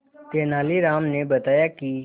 तेनालीराम ने बताया कि